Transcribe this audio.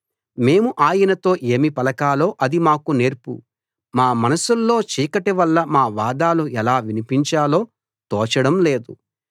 మేము ఆయనతో ఏమి పలకాలో అది మాకు నేర్పు మా మనసుల్లో చీకటి వల్ల మా వాదాలు ఎలా వినిపించాలో తోచడం లేదు